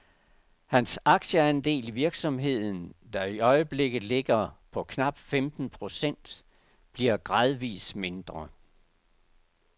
Hans aktieandel i virksomheden, der i øjeblikket ligger på knap femten procent, bliver gradvis mindre.